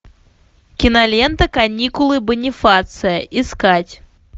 кинолента каникулы бонифация искать